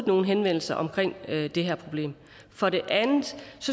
nogen henvendelser om det her problem for det andet